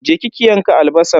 Je ki ki yanka albasan.